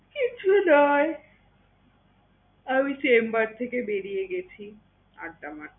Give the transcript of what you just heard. কিচ্ছু নয়, আমি chamber থেকে বেরিয়ে গেছি আড্ডা মারতে।